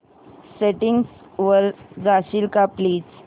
settings वर जाशील का प्लीज